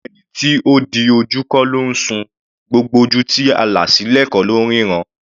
Gbogbo ẹni tó di ojú kọ́ ló ńsùn; gbogbo ojú tí a là sílẹ̀ kọ́ ló ńríran.